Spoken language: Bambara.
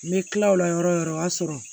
N bɛ tila o la yɔrɔ o yɔrɔ o y'a sɔrɔ